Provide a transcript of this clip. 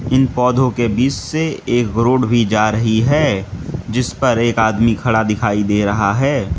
इन पौधों के बीच से एक रोड भी जा रही है जिस पर एक आदमी खड़ा दिखाई दे रहा है।